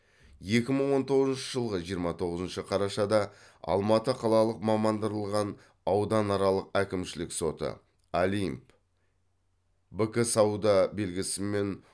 екі мың он тоғызыншы жылғы жиырма тоғызыншы қарашада алматы қалалық мамандырылған ауданаралық әкімшілік соты олимп бк сауда белгісімен